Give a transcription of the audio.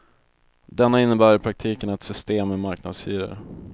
Denna innebär i praktiken ett system med marknadshyror.